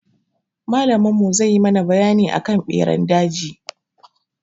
Malamin mu zai yi mana bayani akan ɓeran daji.